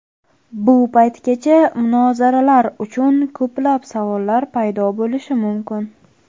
Bu paytgacha munozaralar uchun ko‘plab savollar paydo bo‘lishi mumkin.